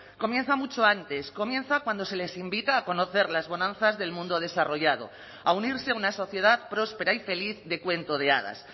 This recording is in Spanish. comienza mucho antes comienza cuando se les invita a conocer las bonanzas del mundo desarrollado a unirse a una sociedad próspera y feliz de cuento de hadas